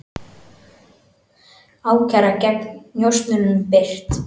Ákæra gegn njósnurum birt